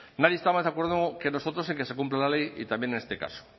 nadie está más de acuerdo que nosotros en que se cumpla la ley y también en este caso